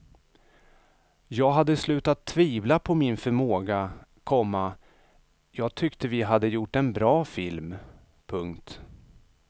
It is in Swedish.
Jag hade slutat tvivla på min förmåga, komma jag tyckte vi hade gjort en bra film. punkt